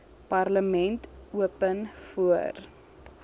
parlement open voor